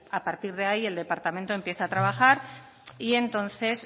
a partir de ahí el departamento empieza a trabajar y entonces